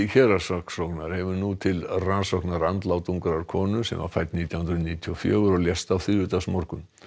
héraðssaksóknara hefur nú til rannsóknar andlát ungrar konu sem var fædd nítján hundruð níutíu og fjögur og lést á þriðjudagsmorgun